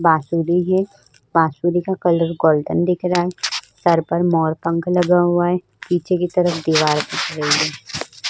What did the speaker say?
बाँसुरी है। बाँसुरी का कलर गोल्डन दिख रहा है। सर पर मोर पंख लगा हुआ है। पीछे की तरफ दीवार दिख रही है।